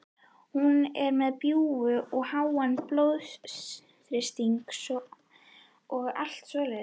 Hún er með bjúg og háan blóðþrýsting og allt svoleiðis.